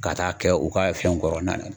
Ka taa kɛ u ka fɛnw kɔrɔ na